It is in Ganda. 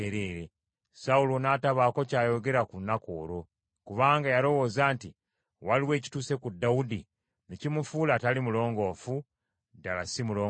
Sawulo n’atabaako kyayogera ku lunaku olwo, kubanga yalowooza nti, “Waliwo ekituuse ku Dawudi ne kimufuula atali mulongoofu; ddala si mulongoofu.”